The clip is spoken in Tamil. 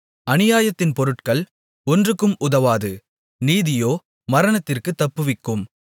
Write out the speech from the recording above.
அநியாயத்தின் பொருட்கள் ஒன்றுக்கும் உதவாது நீதியோ மரணத்திற்குத் தப்புவிக்கும்